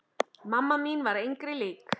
Mamma mín var engri lík.